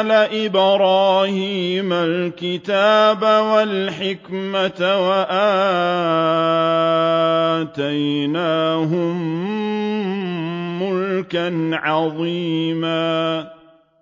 آلَ إِبْرَاهِيمَ الْكِتَابَ وَالْحِكْمَةَ وَآتَيْنَاهُم مُّلْكًا عَظِيمًا